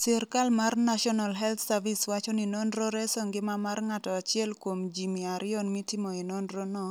Sirkal mar National Health Service wacho ni nonrono reso ngima mar ng'ato 1 kuom ji 200 mitimoe nonrono,